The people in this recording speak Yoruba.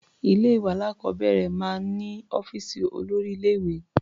Ilé-ìwé alákọ̀ọ́bẹ̀rẹ̀ máa ń ní ọ́fíìsì olórí-ilé-ìwé.